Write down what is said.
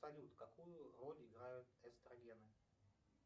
салют какую роль играют эстрогены